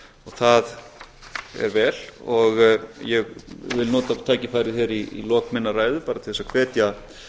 það er vel og ég vil nota þetta tækifæri hér í lok minnar ræðu bara til þess að hvetja